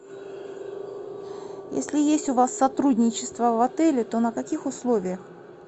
если есть у вас сотрудничество в отеле то на каких условиях